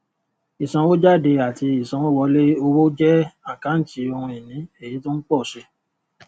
ìsanwójáde àti ìsanwówọlé owó jẹ àkántì ohun ìní èyí tó ń pò si